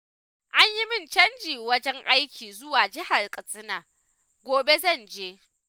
An yi min canjin wajen aiki zuwa jihar Katsina, gobe zan je.